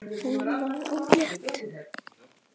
Hún varð ólétt.